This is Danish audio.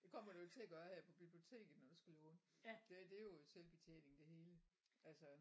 Det kommer du ikke til at gøre her på biblioteket når du skal låne. Det det er jo selvbetjening det hele altså